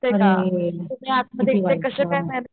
अरे खरंच किती वाईट हा